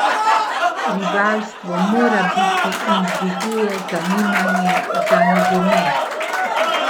Rivalstvo mora biti in dviguje zanimanje za nogomet.